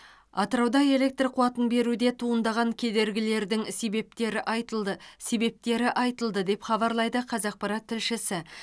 атырауда электр қуатын беруде туындаған кедергілердің себептері айтылды себептері айтылды деп хабарлайды қазақпарат тілшісі